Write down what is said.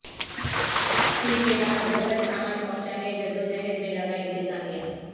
cell کے بعد گھر گھر سامان پہنچانے جدوجہد میں لگا انتظامیہ